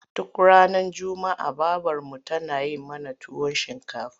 Duk ranar juma'a babarmu tana yi mana tuwon shinkafa.